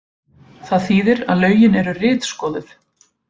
Það þýðir að lögin eru ritskoðuð